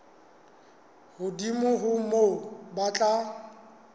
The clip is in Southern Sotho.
hodimo ho moo ba tla